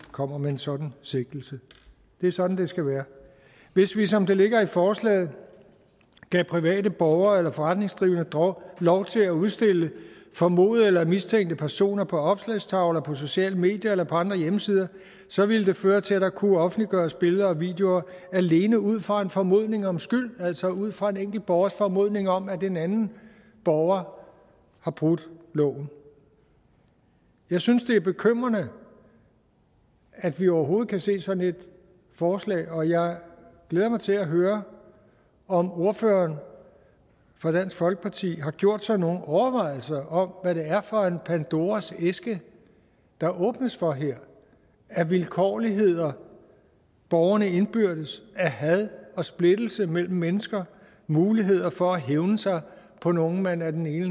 kommer med en sådan sigtelse det er sådan det skal være hvis vi som det ligger i forslaget gav private borgere eller forretningsdrivende lov til at udstille formodede eller mistænkte personer på opslagstavler på sociale medier eller på andre hjemmesider så ville det føre til at der kunne offentliggøres billeder og videoer alene ud fra en formodning om skyld altså ud fra en enkelt borgers formodning om at en anden borger har brudt loven jeg synes det er bekymrende at vi overhovedet kan se sådan et forslag og jeg glæder mig til at høre om ordføreren for dansk folkeparti har gjort sig nogle overvejelser om hvad det er for en pandoras æske der åbnes for her af vilkårligheder borgerne indbyrdes af had og splittelse mellem mennesker muligheder for at hævne sig på nogle man af den ene